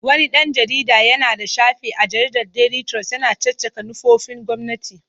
Wani ɗan jarida yana da shafi a jaridar Daily Trust yana caccakar manufofin gwamnati.